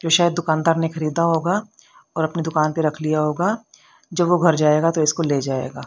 तो शायद दुकानदार ने खरीदा होगा और अपनी दुकान पर रख लिया होगा जब वो घर जाएगा तो इसको ले जाएगा।